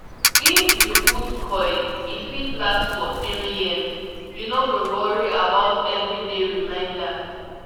if you put coil e fit last for 3yrs -- u no go worry about everyday reminder